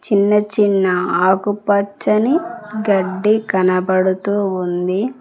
చిన్న చిన్న ఆకుపచ్చని గడ్డి కనబడుతూ ఉంది.